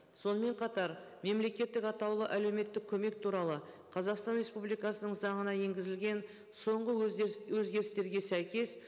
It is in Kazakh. сонымен қатар мемлекеттік атаулы әлеуметтік көмек туралы қазақстан республикасының заңына енгізілген соңғы өзгеріс өзгерістерге сәйкес